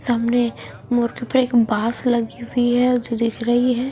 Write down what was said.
सामने मोर के ऊपर एक बास लगी हुई है जो दिख रही है।